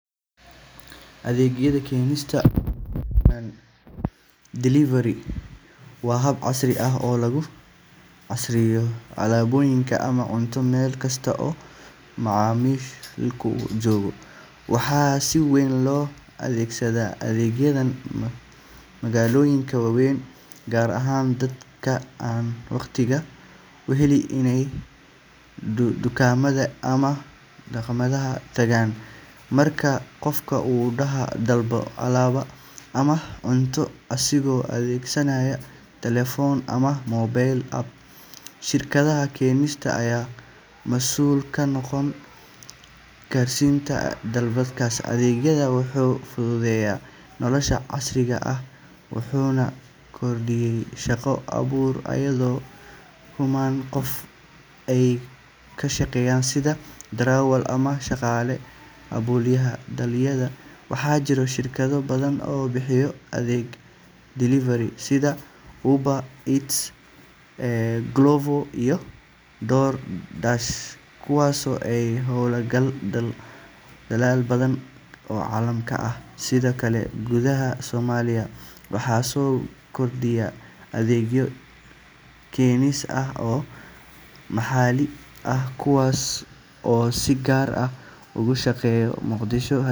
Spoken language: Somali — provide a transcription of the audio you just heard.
Adeegga keenista, oo loo yaqaan delivery, waa hab casri ah oo lagu gaarsiiyo alaabooyin ama cunto meel kasta oo macaamilku joogo. Waxaa si weyn loo adeegsadaa adeeggan magaalooyinka waaweyn, gaar ahaan dadka aan waqtiga u helin inay dukaamada ama makhaayadaha tagaan. Marka qofka uu dalbado alaab ama cunto isagoo adeegsanaya telefoon ama mobile app, shirkadda keenista ayaa masuul ka noqota gaarsiinta dalabkaas. Adeeggan wuxuu fududeeyay nolosha casriga ah wuxuuna kordhiyay shaqo abuurka, iyadoo kumanaan qof ay ka shaqeeyaan sidii darawal ama shaqaale abaabulaya dalabyada. Waxaa jira shirkado badan oo bixiya adeegga delivery sida Uber Eats, Glovo, iyo DoorDash kuwaasoo ka howlgala dalal badan oo caalamka ah. Sidoo kale, gudaha Soomaaliya, waxaa soo kordhaya adeegyo keenis ah oo maxalli ah, kuwaas oo si gaar ah uga shaqeeya Muqdisho.